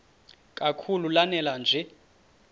kakhulu lanela nje